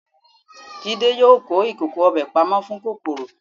Jídé yóò kó ìkòkò ọbẹ̀ pamọ́ fún kòkòrò.